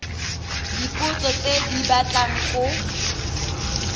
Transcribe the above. dipotso tse di batlang go